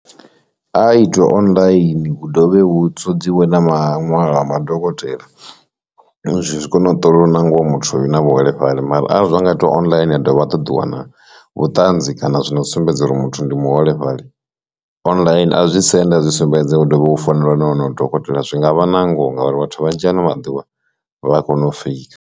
A itwe online hu dovhe hu sedziwe na maṅwalwa a madokotela zwi kone u ṱola na ngoho muthu u na vhuholefhali, mara arali zwa nga itiwa online a dovha a ṱoḓiwa na vhuṱanzi kana zwino zwi sumbedza uri muthu ndi muholefhali, online a zwi senda zwi sumbedza u ḓovhe u fanelwa na wonoyo dokotela zwi ngavha nangoho ngauri vhathu vhanzhi ano maḓuvha vha kona u feika.